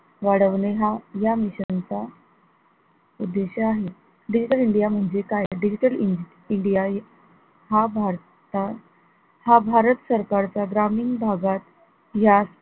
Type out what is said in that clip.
वाढवणे हा या mission चा उद्देश्य आहे, digital india म्हणजे काय digital india हे हा भारता हा भारत सरकारचा ग्रामीण भागात यास